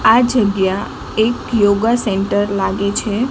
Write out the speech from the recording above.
આ જગ્યા એક યોગા સેન્ટર લાગે છે.